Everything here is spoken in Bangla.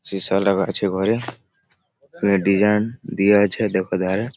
সীসা লাগা আছে ঘরে ডিসাইন দিয়া আছে দেখো ধারে --